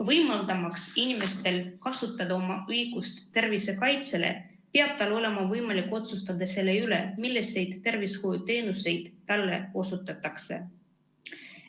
Võimaldamaks inimesel kasutada oma õigust tervise kaitsele, peab tal olema võimalik otsustada selle üle, milliseid tervishoiuteenuseid talle osutatakse.